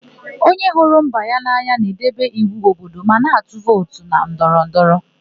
Onye hụrụ mba ya n'anya na-edebe iwu obodo ma na-atụ vootu na ndọrọndọrọ.